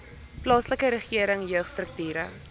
plaaslike regering jeugstrukture